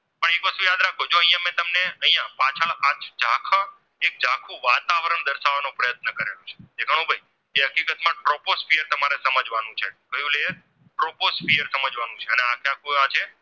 પણ troposphere તમારે સમજવાનું છે કયું layer troposphere સમજવાનું છે અને આજે